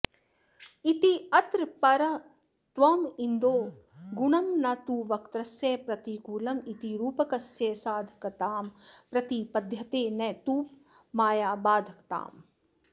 इत्यात्रापरत्वमिन्दोरनुगुणं न तु वक्त्रस्य प्रतिकूलमिति रूपकस्य साधकतां प्रतिपद्यते न तूपमाया बाधकताम्